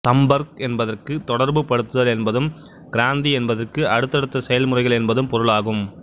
சம்பர்க் என்பதற்கு தொடர்புபடுத்துதல் என்பதும் கிராந்தி என்பதற்கு அடுத்தடுத்த செயல்முறைகள் என்பதும் பொருளாகும்